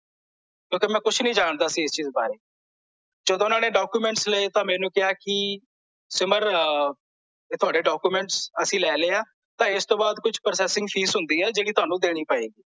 ਕਿਂਓਕੀ ਮੈਂ ਕੁਛ ਨਹੀਂ ਜਾਂਦਾ ਸੀ ਇਸ ਬਾਰੇ ਜਦੋਂ ਓਹਨਾਂ ਨੇ documents ਲਏ ਤਾਂ ਮੈਨੂੰ ਕਿਹਾ ਕੀ ਸਿਮਰ ਇਹ ਤੁਹਾਡੇ documents ਅਸੀਂ ਲੈ ਲਏ ਆ ਤਾਂ ਇਸਤੋਂ ਬਾਅਦ ਕੁਝ processing ਫੀਸ ਹੁੰਦੀ ਆ ਜਿਹੜੀ ਤੁਹਾਨੂੰ ਦੇਣੀ ਪਏਗੀ